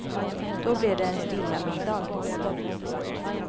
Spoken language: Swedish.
Då blir det en stilla middag.